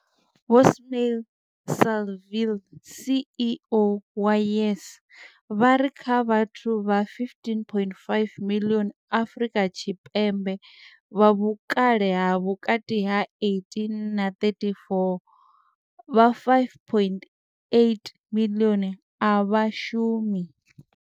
Ismail-Saville CEO wa YES, vha ri kha vhathu vha 15.5 miḽioni Afrika Tshipembe vha vhukale ha vhukati ha 18 na 34, vha 5.8 miḽioni a vha shumi.